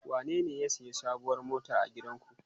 Wanene ya sayi sabuwar mota a gidanku?